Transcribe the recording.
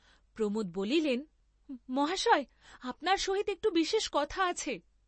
প্রমোদ বলিলে, মহাশয়, আপনার সহিত একটু বিশেষ কথা আছে।